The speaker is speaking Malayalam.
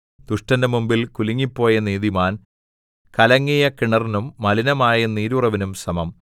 ദുഷ്ടന്റെ മുമ്പിൽ കുലുങ്ങിപ്പോയ നീതിമാൻ കലങ്ങിയ കിണറിനും മലിനമായ നീരുറവിനും സമം